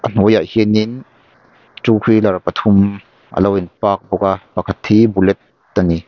a hnuai ah hianin two wheeler pathum alo in park bawk a pakhat hi bullet ani.